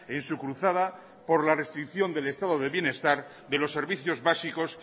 en su cruzada por la restricción del estado de bienestar de los servicios básicos